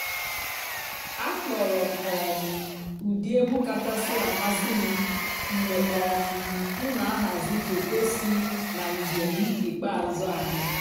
àkpọ́rọ́ m um ụ́dị́ ègwú kàchàsị́ àmásị́ m mg̀bé um m nà-àhàzị́ fòtò sí nà ǹjéém ìkpeázụ́ ànyị́.